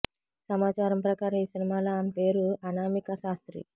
సమాచారం ప్రకారం ఈ సినిమాలో ఆమె పేరు అనామిక శాస్త్రి